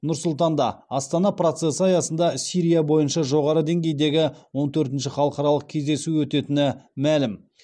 нұр сұлтанда астана процесі аясында сирия бойынша жоғары деңгейдегі он төртінші халықаралық кездесу өтетіні мәлім